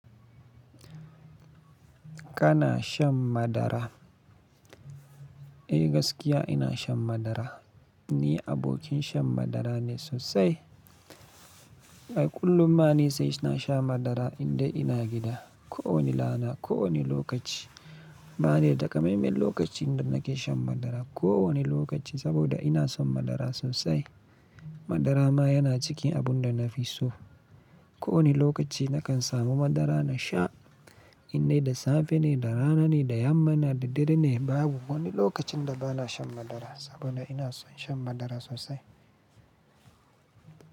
Kana shan madara? Eh gaskiya ina shan madara. Ni abokin shan madara ne sosai. Ai kullum ma ni sai na sha madara indai ina gida, kowane rana, kowane lokaci. Ba ne daga maimai lokacin da nake shan madara. Ko wane lokaci saboda ina son madara sosai. Madara ma yana cikin abun da na fi so. Ko wane lokaci na kan samu madara na sha indai da safe ne, da rana ne, da yamma na da dare ne. Babu wani lokacin da ba na shan madara saboda ina son shan madara sosai.